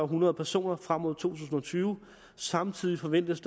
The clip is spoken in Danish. hundrede personer frem mod to tusind og tyve og samtidig forventes